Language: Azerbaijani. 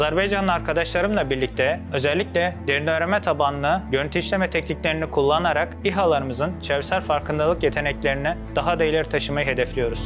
Azərbaycanın arkadaşlarımla birlikdə özəlliklə dərin öyrənmə tabanlı görüntü işləmə texniklərini kullanarak İHALarımızın çevrəsəl farkındalıq yetənlərini daha da irəli taşımayı hədəfləyiyoruz.